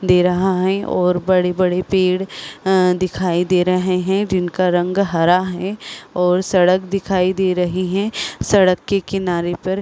दे रहा है और बड़े-बड़े पेड़ अ दिखाई दे रहे है जिनका रंग हरा है और सड़क दिखाई दे रही है सड़क के किनारे पर--